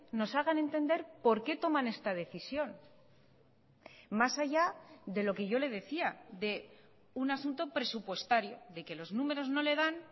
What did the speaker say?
nos hagan entender por qué toman esta decisión más allá de lo que yo le decía de un asunto presupuestario de que los números no le dan